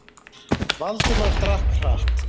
Valdimar drakk hratt.